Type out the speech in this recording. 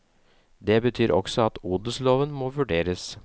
Det betyr også at odelsloven må vurderes.